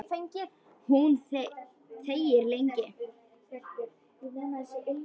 Hún þegir lengi.